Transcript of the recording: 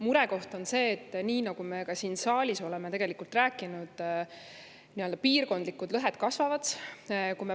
Murekoht on see, nii nagu me ka siin saalis oleme rääkinud, et piirkondlikud lõhed kasvavad.